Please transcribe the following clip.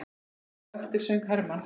Á eftir söng Hermann